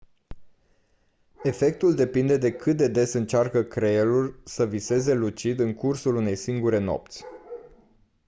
efectul depinde de cât de des încearcă creierul să viseze lucid în cursul unei singure nopți